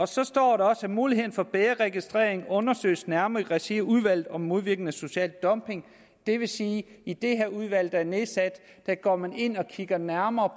så står der også at muligheden for bedre registrering undersøges nærmere i regi af udvalget om modvirken af social dumping det vil sige at i det her udvalg der er nedsat går man ind og kigger nærmere